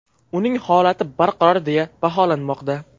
Uning holati barqaror deya baholanmoqda.